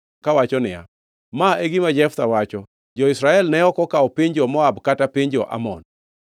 kawacho niya, “Ma e gima Jeftha wacho: Jo-Israel ne ok okawo piny jo-Moab kata piny jo-Amon.